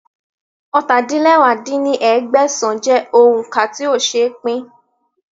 ọ́ta-din-lẹwá dín ní ẹgbẹ́sán jẹ́ òun ká tí ó ṣeé pín